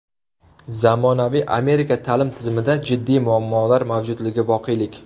Zamonaviy Amerika ta’lim tizimida jiddiy muammolar mavjudligi voqelik.